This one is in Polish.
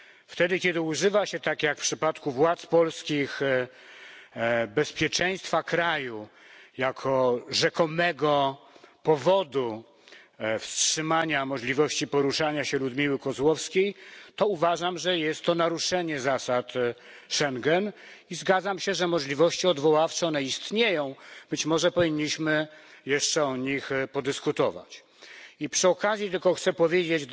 Wtedy, kiedy używa się tak jak w przypadku władz polskich bezpieczeństwa kraju jako rzekomego powodu wstrzymania możliwości poruszania się Ludmiły Kozłowskiej, to uważam, że jest to naruszenie zasad Schengen, i zgadzam się, że możliwości odwoławcze istnieją być może powinniśmy jeszcze o nich podyskutować. Przy okazji tylko chcę powiedzieć